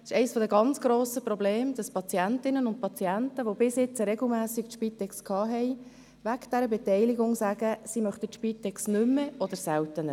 Es ist eines der ganz grossen Probleme, dass Patientinnen und Patienten, die bisher regelmässig von der Spitex betreut wurden, wegen dieser Beteiligung sagen, sie möchten die Spitex nicht mehr oder seltener.